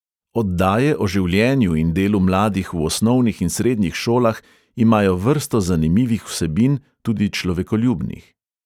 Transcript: Oddaje o življenju in delu mladih v osnovnih in srednjih šolah imajo vrsto zanimivih vsebin, tudi človekoljubnih.